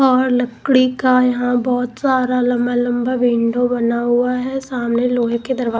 और लकड़ी का यहां बहुत सारा लंबा लंबा विंडो बना हुआ है सामने लोहे के दरवाजे--